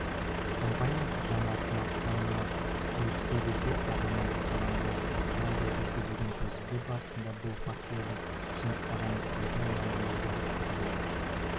компаниясы жаңа сматфондарына су өтпейді деп жарнама жасаған болатын алайда жүргізілген тәжірибе барысында бұл фактінің шындыққа жанаспайтыны мәлім болды деп хабарлайды